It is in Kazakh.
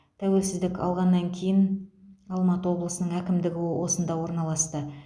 тәуелсіздік алғаннан кейін алматы облысының әкімдігі осында орналасты